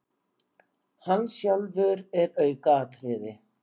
Hann sjálfur er aukaatriði.